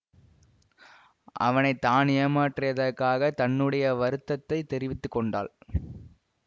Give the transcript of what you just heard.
அவனை தான் ஏமாற்றியதற்காகத் தன்னுடைய வருத்தத்தைத் தெரிவித்து கொண்டாள்